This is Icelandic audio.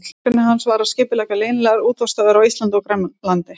Meginverkefni hans var að skipuleggja leynilegar útvarpsstöðvar á Íslandi og Grænlandi.